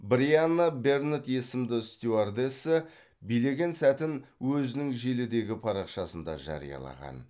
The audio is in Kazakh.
брианна бернетт есімді стюардесса билеген сәтін өзінің желідегі парақшасында жариялаған